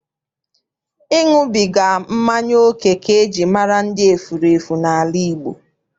Ịṅụbiga mmanya oke ka eji mara ndị efurefu n'ala Igbo.